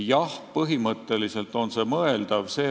Jah, põhimõtteliselt on see mõeldav.